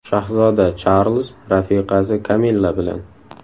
Shahzoda Charlz rafiqasi Kamilla bilan.